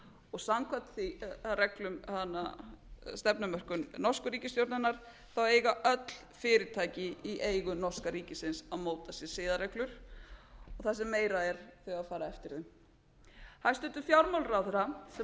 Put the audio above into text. og samkvæmt stefnumörkun norsku ríkisstjórnarinnar eiga öll fyrirtæki í eigu norska ríkisins að móta sér siðareglur og það sem meira er þau eiga að fara eftir þeim hæstvirtur fjármálaráðherra sem hæst hefur talað um skort